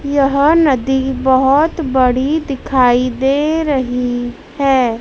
यह नदी बहोत बड़ी दिखाई दे रही है।